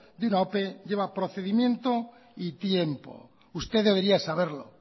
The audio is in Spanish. de una ope lleva procedimiento y tiempo usted debería saberlo